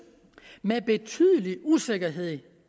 med betydelig usikkerhed